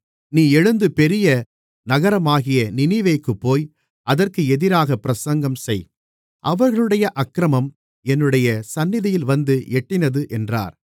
நீ எழுந்து பெரிய நகரமாகிய நினிவேக்குப் போய் அதற்கு எதிராகப் பிரசங்கம் செய் அவர்களுடைய அக்கிரமம் என்னுடைய சந்நிதியில் வந்து எட்டினது என்றார்